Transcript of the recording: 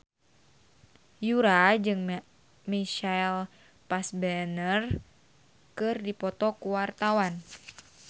Yura jeung Michael Fassbender keur dipoto ku wartawan